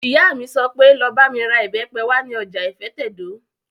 Ìyá mi sọ pé, 'Lọ bá mi ra ìbẹ́pẹ wá ní ọjà ìfẹ́tẹ̀dó!